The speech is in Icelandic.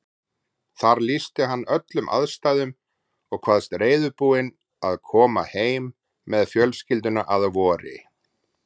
Þar lýsti hann öllum aðstæðum og kvaðst reiðubúinn að koma heim með fjölskylduna að vori.